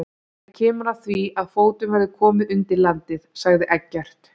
Það kemur að því að fótum verður komið undir landið, sagði Eggert.